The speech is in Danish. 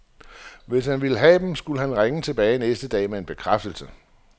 Hvis han ville have dem, skulle han ringe tilbage næste dag med en bekræftelse.